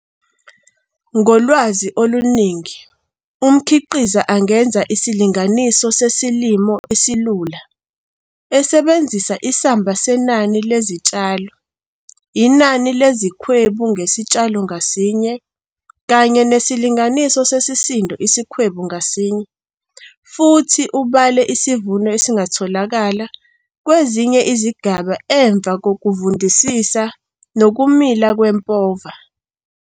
Ngolwazi oluningi umkhiqiza angenza isilinganiso sesilimo esilula esebenzisa isamba senani lezitshalo, inani lezikhwebu ngesitshalo ngasinye kanye nesilinganiso sesisindo isikhwebu ngasinye futhi ubale isivuno esingatholakala kwezinye izigaba emva kokuvundisa nokumila kwempova.